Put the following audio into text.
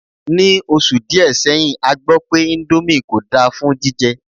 Ní oṣù díè seyin a gbọ́ pé índómì kò dá fún jíjẹ